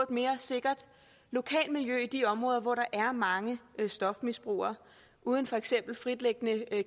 mere sikkert lokalmiljø i de områder hvor der er mange stofmisbrugere uden for eksempel fritliggende